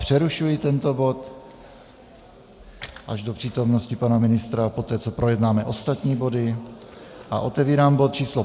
Přerušuji tento bod až do přítomnosti pana ministra a poté, co projednáme ostatní body, a otevírám bod číslo